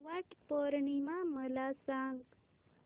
वट पौर्णिमा मला सांग